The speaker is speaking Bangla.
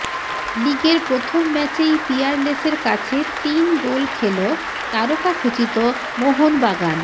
লিগের প্রথম ম্যাচেই পিয়ারলেসের কাছে তিন গোল খেল তারকাখচিত মোহনবাগান